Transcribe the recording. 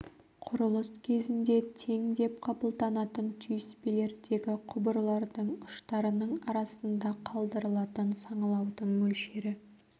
құрылыс кезінде тең деп қабылданатын түйіспелердегі құбырлардың ұштарының арасында қалдырылатын саңылаудың мөлшері